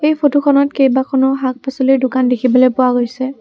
এই ফটোখনত কেইবাখনো শাক পাচলিৰ দোকান দেখিবলৈ পোৱা গৈছে।